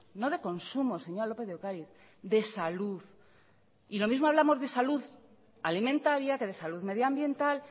no de consumo señora lópez de ocáriz de salud y lo mismo hablamos de salud alimentaria que de salud medioambiental